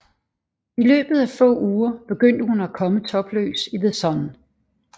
I løbet af få uger begyndte hun at komme topløs i The Sun